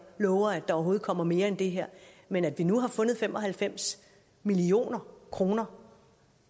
lover at der overhovedet kommer mere end det her men at vi nu har fundet fem og halvfems million kroner